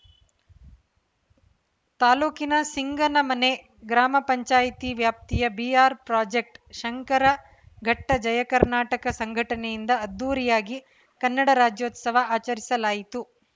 ತಾಲೂಕಿನ ಸಿಂಗನಮನೆ ಗ್ರಾಮ ಪಂಚಾಯಿತಿ ವ್ಯಾಪ್ತಿಯ ಬಿಆರ್‌ಪ್ರಾಜೆಕ್ಟ್ ಶಂಕರಘಟ್ಟ ಜಯಕರ್ನಾಟಕ ಸಂಘಟನೆಯಿಂದ ಅದ್ದೂರಿಯಾಗಿ ಕನ್ನಡ ರಾಜ್ಯೋತ್ಸವ ಆಚರಿಸಲಾಯಿತು